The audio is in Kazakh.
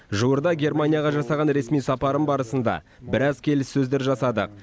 жуырда германияға жасаған ресми сапарым барысында біраз келіссөздер жасадық